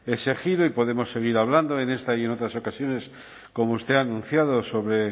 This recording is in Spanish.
ese giro y podemos seguir hablando en esta y en otras ocasiones como usted ha anunciado sobre